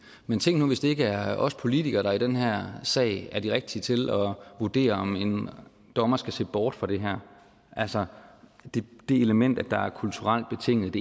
men tænk nu hvis det ikke er os politikere der i den her sag er de rigtige til at vurdere om en dommer skal se bort fra det her altså det element at der er er kulturelt betinget